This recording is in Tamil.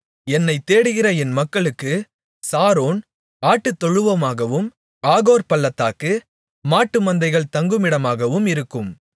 என்னைத் தேடுகிற என் மக்களுக்கு சாரோன் ஆட்டுத்தொழுவமாகவும் ஆகோர் பள்ளத்தாக்கு மாட்டுமந்தைகள் தங்குமிடமாகவும் இருக்கும்